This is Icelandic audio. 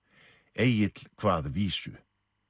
Egill kvað vísu